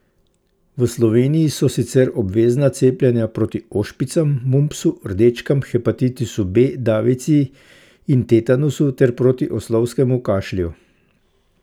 V Sloveniji so sicer obvezna cepljenja proti ošpicam, mumpsu, rdečkam, hepatitisu B, davici in tetanusu ter proti oslovskem kašlju.